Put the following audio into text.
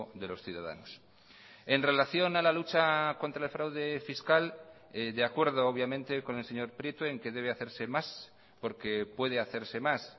de los ciudadanos en relación a la lucha contra el fraude fiscal de acuerdo obviamente con el señor prieto en que debe hacerse más porque puede hacerse más